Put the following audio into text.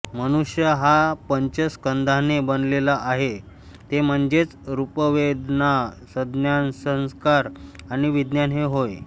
मनुष्य हा पंच स्कंधाने बनलेला आहे ते म्हणजेच रूपवेदनासंज्ञासंस्कार आणि विज्ञान हे होय